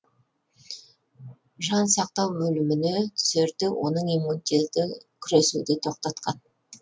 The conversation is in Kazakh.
жан сақтау бөліміне түсерде оның иммунитеті күресуді тоқтатқан